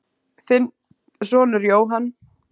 Þinn sonur, Jóhann.